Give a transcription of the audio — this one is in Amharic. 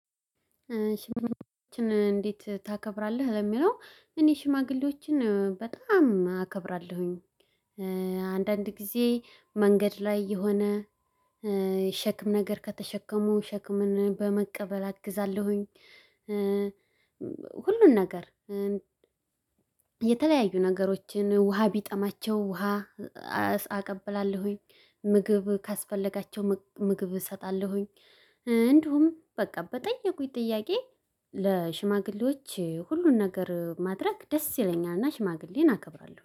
ሽማግሌዎችን እንዴት ታከብራለህ? ለሚለው እኔ ሽማግሌዎችን በጣም አከብራለሁኝ። አንዳንድ ጊዜ መንገድ ላይ የሆነ ሸክም ነገር ከተሸከሙ ሸክምን በመቀበል አግዛለሁኝ። ሁሉን ነገር። የተለያዩ ነገሮችን ውሃ ቢጠማቸው ውሃ አቀብላለሁኝ። ምግብ ካስፈለጋቸው ምግብ እሰጣለሁኝ። እንዲሁም በቃ በጠየቁኝ ጥያቄ ለሽማግሌዎች ሁሉን ነገር ማድረግ ደስ ይለኛልና። ሽማግሌን አከብራለሁ